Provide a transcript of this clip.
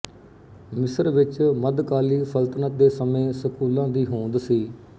ਮਿਸਰ ਵਿੱਚ ਮੱਧਕਾਲੀ ਸਲਤਨਤ ਦੇ ਸਮੇਂ ਸਕੂਲਾਂ ਦੀ ਹੋਂਦ ਸੀ